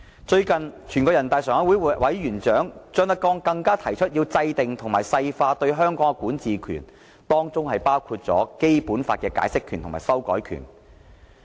最近，全國人民代表大會常務委員會委員長張德江更提出要制訂和細化對香港的管治權，當中包括《基本法》的解釋權和修改權。